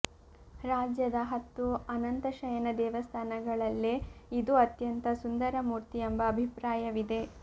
ರಾಜ್ಯದ ಹತ್ತು ಅನಂತಶಯನ ದೇವಸ್ಥಾನಗಳಲ್ಲೇ ಇದು ಅತ್ಯಂತ ಸುಂದರ ಮೂರ್ತಿ ಎಂಬ ಅಭಿಪ್ರಾಯವಿದೆ